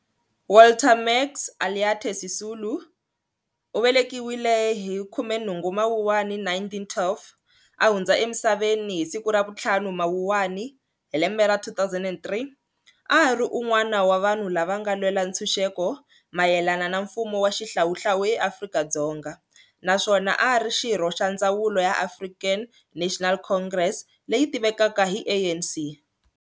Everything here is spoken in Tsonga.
Walter Max Ulyate Sisulu, 18 Mawuwani 1912-5 Mawuwani 2003, a ri unwana wa vanhu lava nga lwela ntshuxeko mayelana na mfumo wa xihlawuhlawu eAfrika-Dzonga naswona ari xirho xa ndzawulo ya African National Congress, ANC.